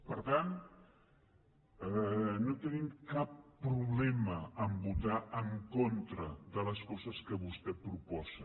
per tant no tenim cap problema a votar en contra de les coses que vostè proposa